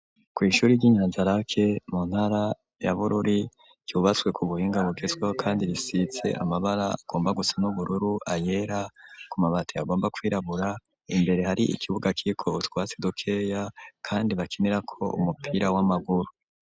Kw’ishuri ry'i Nyanzarake, mu ntara ya Bururi, ryubatswe ku buhinga, bugezweho, kandi, risize amabara, agomba gusa n'ubururu, ayera; ku mabati, agomba kwirabura; imbere, hari ikibuga, kiriko utwatsi, dukeya, kandi bakinirako, umupira w'amaguru.